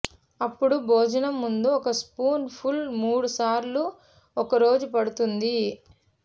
అప్పుడు భోజనం ముందు ఒక స్పూన్ ఫుల్ మూడు సార్లు ఒక రోజు పడుతుంది